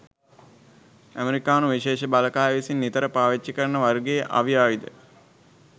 ඇමරිකානු විශේෂ බලකාය විසින් නිතර පාවිච්චි කරන වර්ගයේ අවි ආයුධ ද